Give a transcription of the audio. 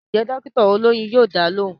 Ǹjẹ́ dọ́kítà olóyún yóò dá a lóhùn